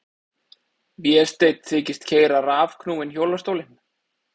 Vésteinn þykist keyra rafknúinn hjólastólinn.